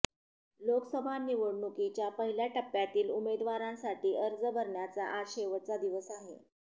लोकसभा निवडणुकीच्या पहिल्या टप्प्यातील उमेदवारांसाठी अर्ज भरण्याचा आज शेवटचा दिवस आहे